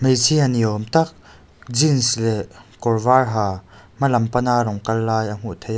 hmeichhia ni awm tak jeans leh kawr var ha hma lam pan a rawn kal lai a hmuh theih a.